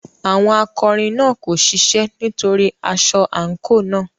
Àwọn akọrin náà kò ṣiṣẹ́ nítorí aṣọ àǹkóò náà.